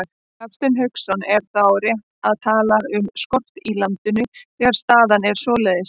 Hafsteinn Hauksson: Er þá rétt að tala um skort í landinu, þegar staðan er svoleiðis?